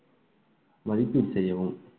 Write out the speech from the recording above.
மதிப்பீடு செய்யவும்